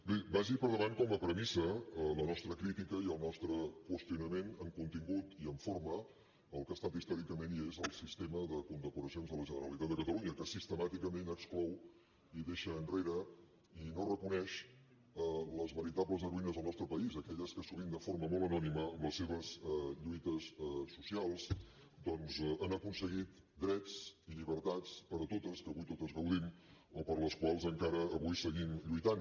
bé vagi per davant com a premissa la nostra crítica i el nostre qüestionament en contingut i en forma al que ha estat històricament i és el sistema de condecoracions de la generalitat de catalunya que sistemàticament exclou i deixa enrere i no reconeix les veritables heroïnes del nostre país aquelles que sovint de forma molt anònima amb les seves lluites socials doncs han aconseguit drets i llibertats per a totes de què avui totes gaudim o per les quals avui encara seguim lluitant